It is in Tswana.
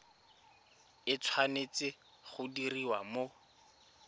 e tshwanetse go diriwa mo